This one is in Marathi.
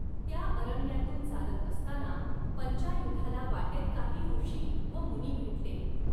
त्या अरण्यातून चालत असताना पंचायुधाला वाटेत काही ऋषी व मुनी भेटले.